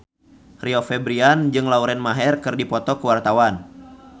Rio Febrian jeung Lauren Maher keur dipoto ku wartawan